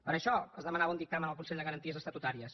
per això es demanava un dictamen al consell de garanties estatutàries